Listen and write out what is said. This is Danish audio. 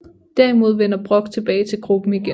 Derimod vender Brock tilbage til gruppen igen